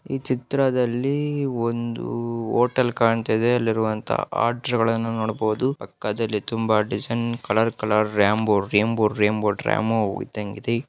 ಈ ಚಿತ್ರದಲ್ಲಿ ಹೋಟೆಲ್ ಕಾಣಿಸ್ತಾ ಇದೆ ಅಲ್ಲಿರುವಂತಹ ಆರ್ಟ್ಸ್ ಗಳನ್ನು ನೋಡಬಹುದು ಪಕ್ಕದಲ್ಲಿ ತುಂಬಾ ಡಿಸೈನ್ ಕಲರ್ ಕಲರ್ ಅಲ್ಲಿ ರಾಂಬೊ ರಾಂಬೊ ಇದ್ದಂಗ ಇದೆ.